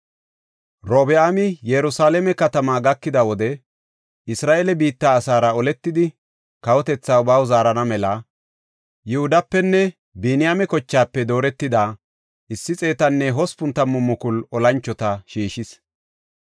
Robi7aami Yerusalaame katama gakida wode Isra7eele biitta asaara oletidi kawotethaa baw zaarana mela Yihudapenne Biniyaame kochaafe dooretida 180,000 olanchota shiishis.